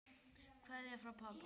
Kveðja frá pabba.